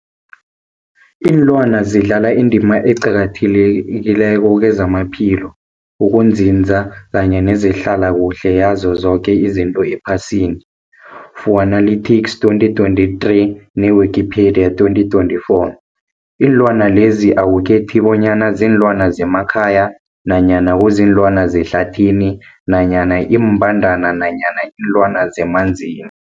Ilwana zidlala indima eqakathekileko kezamaphilo, ukunzinza kanye nezehlala kuhle yazo zoke izinto ephasini, Fuanalytics 2023, ne-Wikipedia 2024. Iinlwana lezi akukhethi bonyana ziinlwana zemakhaya nanyana kuziinlwana zehlathini nanyana iimbandana nanyana iinlwana zemanzini.